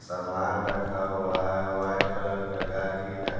सामान रखा हुआ है वाइट कलर का गाड़ी है।